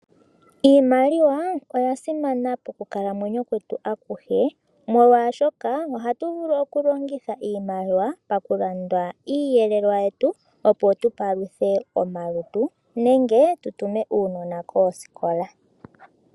Iimaliwa oya simana pokukalamweyo kwetu akuhe, molwashoka ohatu vulu okulongitha iimaliwa palulanda iiyelelwa yetu, opo tu paluthe omalutu getu nenge tu tume uunona koosikola.